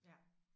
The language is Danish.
Ja